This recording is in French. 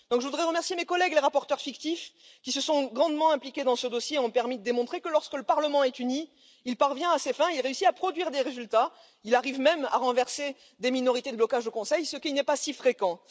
Je voudrais remercier mes collègues, les rapporteurs fictifs, qui se sont grandement impliqués dans ce dossier et ont permis de démontrer que lorsque le Parlement est uni, il parvient à ses fins, il réussit à produire des résultats, il arrive même à renverser des minorités de blocage au Conseil, ce qui n'est pas si fréquent.